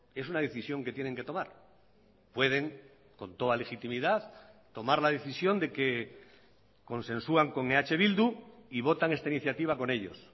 es una decisión que tienen que tomar pueden con toda legitimidad tomar la decisión de que consensúan con eh bildu y votan esta iniciativa con ellos